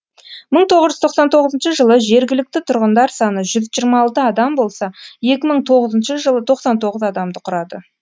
мың тоғыз жүз тоқсан тоғызыншы жылы жергілікті тұрғындар саны жүз жиырма алты адам болса екі мың тоғызыншы жылы тоқсан тоғыз адамды құрады